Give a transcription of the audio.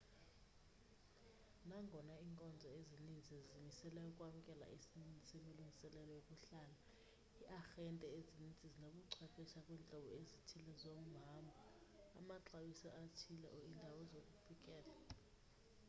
nangona iinkonzo ezininzi zizimisele ukwamkela isininzi semilungiselelo yokuhlala iiarhente ezininzi zinobuchwephesha kwiintlobo ezithile zohambho amaxabiso athile or iindawo zokufikela